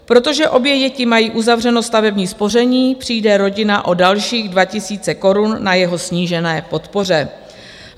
Protože obě děti mají uzavřeno stavební spoření, přijde rodina o dalších 2 000 korun na jeho snížené podpoře.